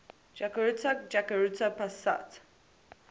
jakarta jakarta pusat